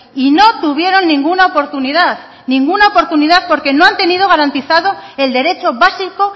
y no tuvieron ninguna oportunidad ninguna oportunidad porque no han tenido garantizado el derecho básico